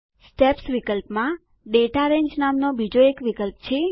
steps વિકલ્પમાં દાતા રંગે નામનો બીજો એક વિકલ્પ છે